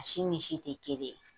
Si ni si tɛ kelen ye.